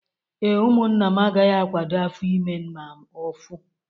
Ee, ụmụnna m agaghị akwado afọ ime ma ofu